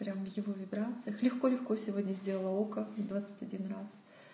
прямо в его вибрациях легко легко сегодня сделала ока двадцать один раз